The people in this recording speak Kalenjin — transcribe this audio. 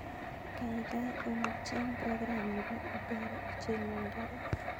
Kaigaigai olly cheng program nepo uber ichengwon karit